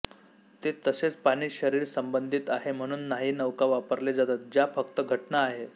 ते तसेच पाणी शरीर संबंधित आहे म्हणून नाही नौका वापरले जातात ज्या फक्त घटना आहे